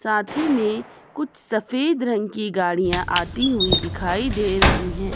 साथ ही में कुछ सफेद रंग की गाड़ियां आती हुई दिखाई दे रही हैं।